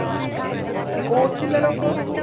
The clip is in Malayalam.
coach ഇല്ലല്ലോ ഇപ്പൊ